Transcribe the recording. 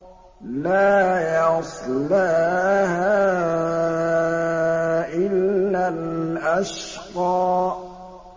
لَا يَصْلَاهَا إِلَّا الْأَشْقَى